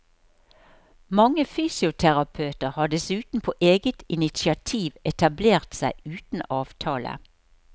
Mange fysioterapeuter har dessuten på eget initiativ etablert seg uten avtale.